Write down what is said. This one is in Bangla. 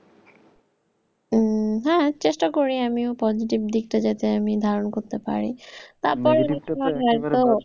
হম হ্যাঁ চেষ্টা করি আমিও যাতে positive দিকটা ধারণ করতে পারি